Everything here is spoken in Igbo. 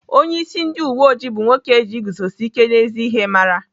Onyeisi ndị uweoji bụ nwoke eji iguzosi ike n'ezi ihe mara.